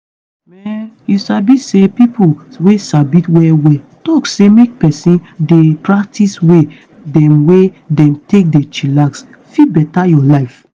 mehn you sabi say pipo wey sabi well well talk say make peson dey practice way dem wey dem take dey chillax fit beta your life